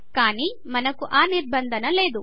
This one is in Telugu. కానీ మనకు ఆ నిర్బంధానం లెదు